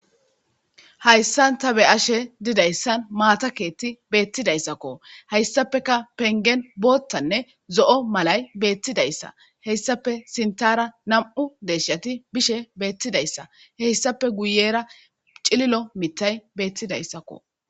Hhayssan ta be ashe didayssan maatakeetti beettidayssakko hayssapeka pengen boottanne zo7o malay beettidayssa heyssape sintara nam7u deshshati bishe beettidayssa heyssape guyera cililo mitay beettidayssakko